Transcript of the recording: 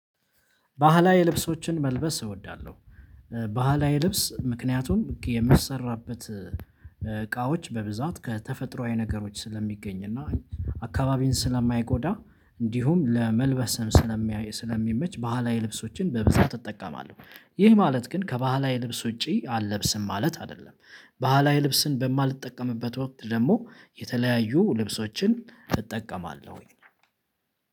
ባህላዊ ልብሶችን መልበስ እወዳለሁ። ባህላዊ ልብስ ምክንያቱም የሚሰራበት እቃዎች በብዛት ከተፈጥሯዊ ነገሮች ስለሚገኝ እና አካባቢን ስለማይጎዳ እንዲሁም ለመልበስም ስለሚያይ ስለሚመች ባህላዊ ልብሶችን በብዛት እጠቀማለሁ። ይህ ማለት ግን ከባህላዊ ልብስ ውጪ አልለብስም ማለት አይደለም። ባህላዊ ልብስን በማልጠቀምበት ወቅት ደግሞ የተለያዩ ልብሶችን እጠቀማለሁኝ።